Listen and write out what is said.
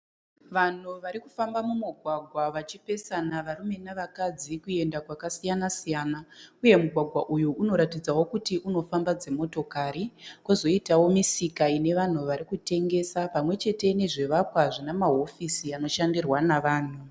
Vanhu varikufamba mumugwagwa vachipesana varume navakadzi kuenda kwakasiyana-siyana. Uye mugwagwa uyu unoratidzawo kuti unofamba dzimotikari kozoitawo misika inevanhu varikutengesa pamwechete nezvivakwa zvinamahofisi anoshandirwa navanhu.